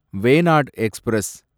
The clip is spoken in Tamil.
வேனாட் எக்ஸ்பிரஸ்